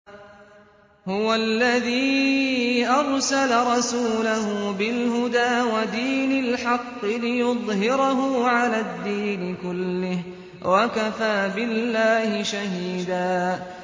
هُوَ الَّذِي أَرْسَلَ رَسُولَهُ بِالْهُدَىٰ وَدِينِ الْحَقِّ لِيُظْهِرَهُ عَلَى الدِّينِ كُلِّهِ ۚ وَكَفَىٰ بِاللَّهِ شَهِيدًا